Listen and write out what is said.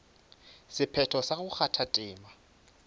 sephetho sa go kgatha tema